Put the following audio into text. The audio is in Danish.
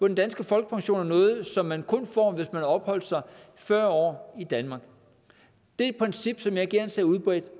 den danske folkepension er noget som man kun får hvis man har opholdt sig fyrre år i danmark det er et princip som jeg gerne ser udbredt